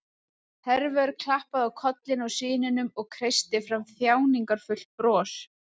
Hervör klappaði á kollinn á syninum og kreisti fram þjáningarfullt bros.